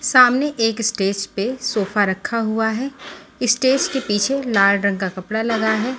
सामने एक स्टेज पे सोफा रखा हुआ है स्टेज के पीछे लाल रंग का कपड़ा लगा है।